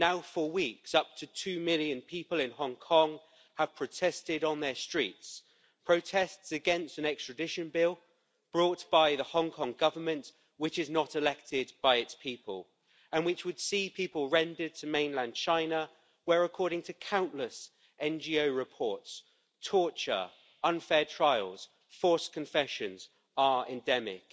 For weeks now, up to two million people in Hong Kong have protested on their streets, protests against an extradition bill brought by the Hong Kong Government, which is not elected by its people, which would see people rendered to mainland China where, according to countless NGO reports, torture, unfair trials and forced confessions are endemic.